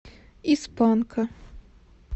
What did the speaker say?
из панка